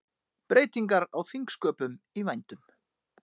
Breytingar á þingsköpum í vændum